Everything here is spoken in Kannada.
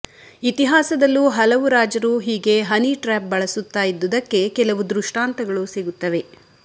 ಇತಿಹಾಸದಲ್ಲೂ ಹಲವು ರಾಜರು ಹೀಗೆ ಹನಿಟ್ರ್ಯಾಪ್ ಬಳಸುತ್ತ ಇದ್ದುದಕ್ಕೆ ಕೆಲವು ದೃಷ್ಟಾಂತಗಳು ಸಿಗುತ್ತವೆ